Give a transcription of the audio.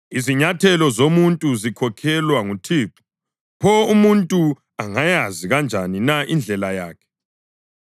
Izinyathelo zomuntu zikhokhelwa nguThixo. Pho umuntu angayazi kanjani na indlela yakhe?